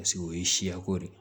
Paseke o ye siyako de ye